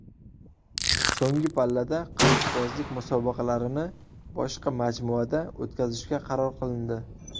So‘nggi pallada qilichbozlik musobaqalarini boshqa majmuada o‘tkazishga qaror qilindi.